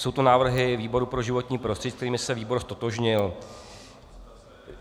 Jsou to návrhy výboru pro životní prostředí, se kterými se výbor ztotožnil.